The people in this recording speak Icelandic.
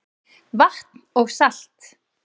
Vatn og salt